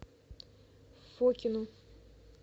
фокину